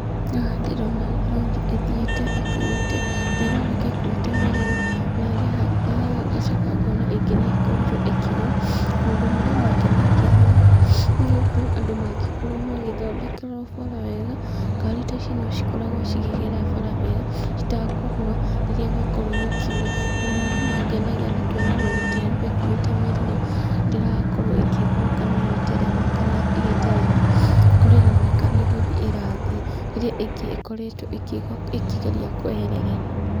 Haha ndĩrona rori ĩthiĩte ĩkuĩte, na ĩroneka ĩkuĩte mĩrigo, na haha ngacoka ngona ĩngĩ nĩ ikorirwo ĩkĩgwa. Maũndũ marĩa mangenagia haha, nĩ gũkorwo andũ mangĩkorwo magĩthondekerwo bara wega, ngaari ta ici no cikoragwo cikĩgera bara wega citakũgwa rĩrĩa gwakorwo gũkiura. Maũndũ marĩa mangenagia nĩ kuona rori ta ĩno ĩkuĩte mĩrigo ndĩrakorwo ĩkĩgwa kana ĩgĩterema kana ĩgĩteretha, kũrĩa ĩroneka nĩ gũthiĩ ĩrathiĩ, rĩrĩa ĩngĩ ĩkoretwo ĩkĩgwa ĩkĩgeria kweherera ĩno.